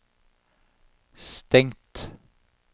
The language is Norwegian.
stengt